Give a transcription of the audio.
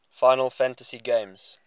final fantasy games